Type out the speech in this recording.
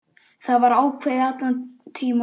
Það var ákveðið allan tímann.